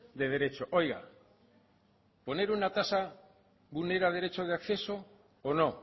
de derecho oiga poner una tasa vulnera el derecho de acceso o no